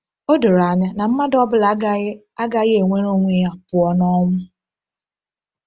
Ọ doro anya na mmadụ ọ bụla agaghị agaghị ewere onwe ya pụọ n’ọnwụ.